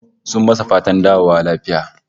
Sun masa fatar dawowa lafiya